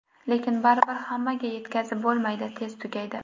Lekin baribir hammaga yetkazib bo‘lmaydi, tez tugaydi.